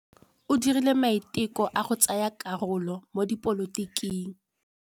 O dirile maitekô a go tsaya karolo mo dipolotiking.